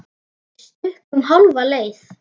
Við stukkum hálfa leið.